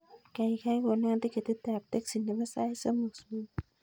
Kaigai konon tiketit ap teksi nepo sait somok supui